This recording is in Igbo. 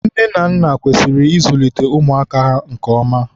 nne na nna kwesịrị ịzulite ụmụ ha nke ọma.